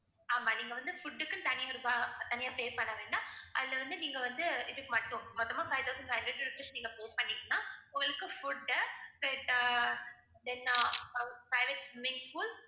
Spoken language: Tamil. ஆமா நீங்க வந்து food க்குன்னு தனி தனியா pay பண்ண வேண்டாம். அதுல வந்து நீங்க வந்து இதுக்கு மட்டும் மொத்தமா five thousand five hundred rupees நீங்க pay பண்ணிட்டீங்கன்னா உங்களுக்கு food then ஆஹ் private swimming pool